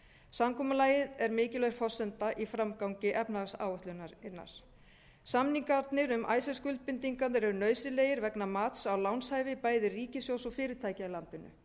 samkomulagið er mikilvæg forsenda í framgangi efnahagsáætlunarinnar samningarnir um icesave skuldbindingar eru nauðsynlegir vegna mats á lánshæfi bæði ríkissjóðs og fyrirtækja í landinu